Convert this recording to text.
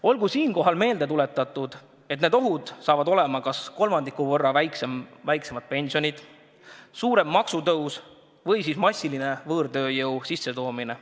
Olgu siinkohal meelde tuletatud, et need ohud saavad olema kas kolmandiku võrra väiksemad pensionid, suurem maksutõus või massiline võõrtööjõu sissetoomine.